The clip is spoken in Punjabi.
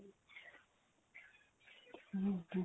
ਹਾਂਜੀ